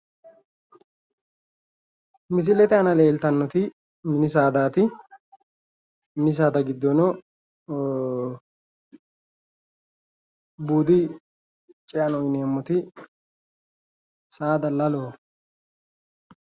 Misilete aana leeltannoti mini sadaati mini saada giddono buudi ce"aneemmoti saada laloho